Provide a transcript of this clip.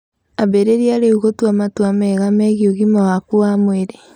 Ambĩrĩrie rĩu gũtua matua mega megiĩ ũgima waku wa mwĩrĩ.